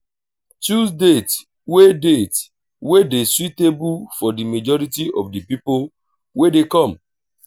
choose date wey date wey dey suitable for di majority of di pipo wey dey come